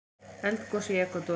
Eldgos í Ekvador